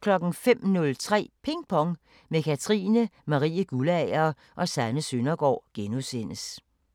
05:03: Ping Pong – med Katrine Marie Guldager og Sanne Søndergaard *